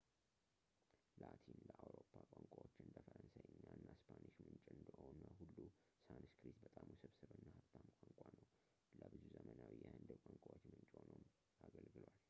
ላቲን ለአውሮፓ ቋንቋዎች እንደ ፈረንሳይኛ እና ስፓኒሽ ምንጭ እንደሆነ ሁሉ ሳንስክሪት በጣም ውስብስብ እና ሀብታም ቋንቋ ነው ፣ ለብዙ ዘመናዊ የህንድ ቋንቋዎች ምንጭ ሆኖ አገልግሏል